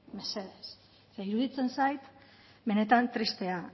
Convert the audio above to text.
mesedez zeren iruditzen zait benetan tristea